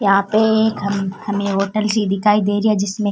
यहाँ पे हम हमें होटल सी दिखाई दे रही है जिसमे--